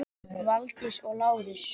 Valdís og Lárus.